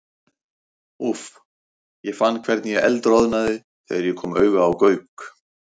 Úff, ég fann hvernig ég eldroðnaði þegar ég kom auga á Gauk.